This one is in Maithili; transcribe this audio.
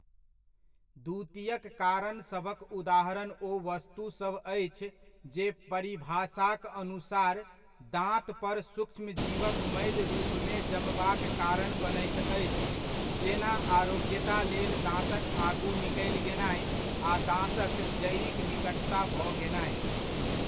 द्वितीयक कारणसभक उदाहरण ओ वस्तुसभ अछि जे परिभाषाक अनुसार, दाँत पर सूक्ष्मजीवक मैल रूपमे जमबाक कारण बनैत अछि जेना आरोग्यता लेल दाँतक आगू निकलि गेनाय आ दाँतक जड़िक निकटता भऽ गेनाय।